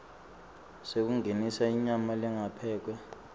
sekungenisa inyama lengakaphekwa